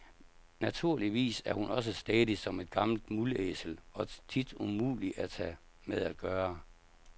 Naturligvis er hun også stædig som et gammelt mulæsel og tit umulig at have med at gøre.